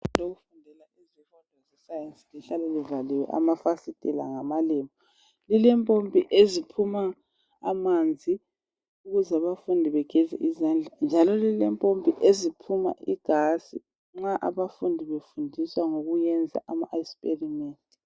Igumbi lokufundela izifundo zeScience lihlale kuvaliwe amafasitela ngamalembu. Lilempompi eziphuma amanzi ukuze abafundi bageze izandla njalo lilempompi eziphuma igas nxa abafundi befundiswa ngokwesenza iexperiment.